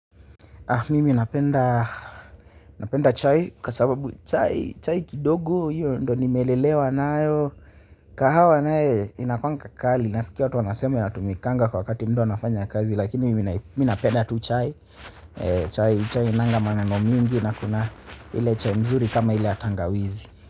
Mimi napenda, napenda chai kwa sababu chai chai kidogo hiyo ndo nimelelewa nayo kahawa naye inakuwanga kali nasikia watu wanasema inatumikanga kwa wakati mtu anafanya kazi lakini mimi napenda tu chai chai chai hainanga maneno mingi, na kuna ile chai mzuri kama ile ya tangawizi.